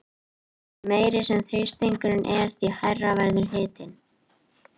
Því meiri sem þrýstingurinn er því hærri verður hitinn.